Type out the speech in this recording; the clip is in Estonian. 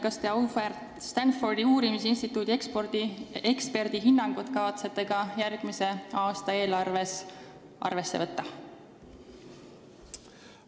Kas te selle Stanfordi uurimisinstituudi auväärt eksperdi hinnangut kavatsete järgmise aasta eelarvet kavandades arvesse võtta?